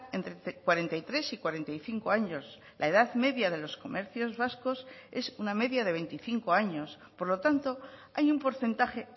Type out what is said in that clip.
entre cuarenta y tres y cuarenta y cinco años la edad media de los comercios vascos es una media de veinticinco años por lo tanto hay un porcentaje